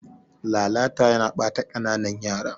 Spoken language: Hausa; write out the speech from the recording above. Lalata yana ɓata kananan yara.